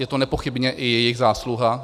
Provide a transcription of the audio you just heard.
Je to nepochybně i jejich zásluha.